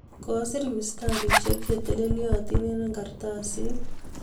kosir mistarishek che telelyotin eng karatasiT